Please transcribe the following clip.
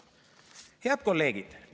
Head kolleegid!